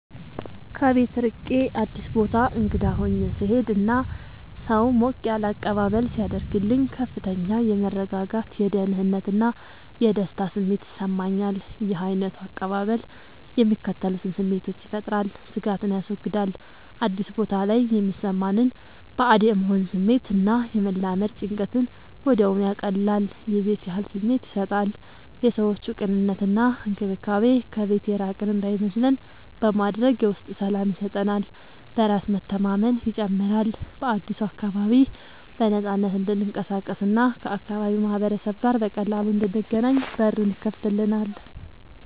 ከቤት ርቄ አዲስ ቦታ እንግዳ ሆኜ ስሄድ እና ሰው ሞቅ ያለ አቀባበል ሲያደርግልኝ ከፍተኛ የመረጋጋት፣ የደህንነት እና የደስታ ስሜት ይሰማኛል። ይህ ዓይነቱ አቀባበል የሚከተሉትን ስሜቶች ይፈጥራል፦ ስጋትን ያስወግዳል፦ አዲስ ቦታ ላይ የሚሰማንን ባዕድ የመሆን ስሜት እና የመላመድ ጭንቀትን ወዲያውኑ ያቀልላል። የቤት ያህል ስሜት ይሰጣል፦ የሰዎቹ ቅንነት እና እንክብካቤ ከቤት የራቅን እንዳይመስለን በማድረግ የውስጥ ሰላም ይሰጠናል። በራስ መተማመንን ይጨምራል፦ በአዲሱ አካባቢ በነፃነት እንድንቀሳቀስ እና ከአካባቢው ማህበረሰብ ጋር በቀላሉ እንድንገናኝ በሩን ይከፍትልናል።